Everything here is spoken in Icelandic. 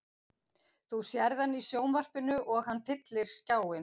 Þú sérð hann í sjónvarpinu og hann fyllir skjáinn.